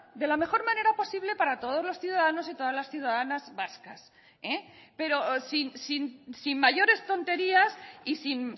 de la mejor manera posible para todos los ciudadanos y todas las ciudadanas vascas pero sin mayores tonterías y sin